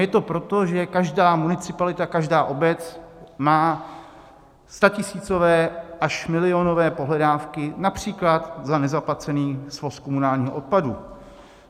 Je to proto, že každá municipalita, každá obec má statisícové až milionové pohledávky například za nezaplacený svoz komunálního odpadu.